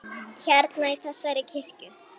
Hérna, í þessari kirkju?